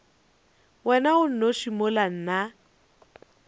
wena o nnoši mola nna